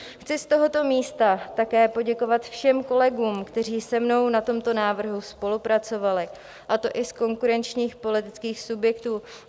Chci z tohoto místa také poděkovat všem kolegům, kteří se mnou na tomto návrhu spolupracovali, a to i z konkurenčních politických subjektů.